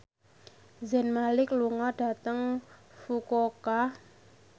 Zayn Malik lunga dhateng Fukuoka